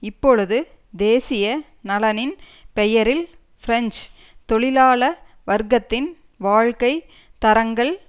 இப்பொழுது தேசிய நலனின் பெயரில் பிரெஞ்சு தொழிலாள வர்க்கத்தின் வாழ்க்கை தரங்கள்